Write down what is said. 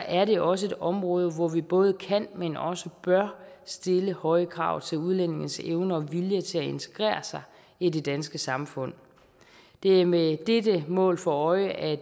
er det også et område hvor vi både kan men også bør stille høje krav til udlændinges evne og vilje til at integrere sig i det danske samfund det er med dette mål for øje at